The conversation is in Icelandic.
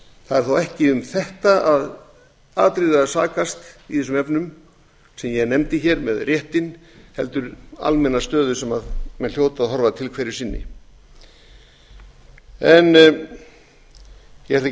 það er þó ekki um þetta atriði að sakast í þessum efnum sem ég nefndi hér með réttinn heldur almenna stöðu sem menn hljóta að horfa til hverju sinni ég ætla ekki að